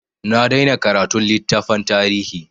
Na daina karatun littafan tarihi.